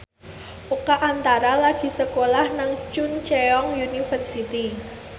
Oka Antara lagi sekolah nang Chungceong University